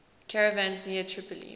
caravans near tripoli